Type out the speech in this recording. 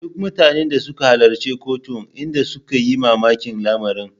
Duk mutanen da suka halarci kotun inda suka yi mamakin lamarin.